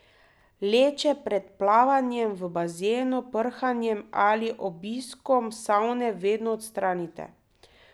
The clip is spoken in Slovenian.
Leče pred plavanjem v bazenu, prhanjem ali obiskom savne, vedno odstranite.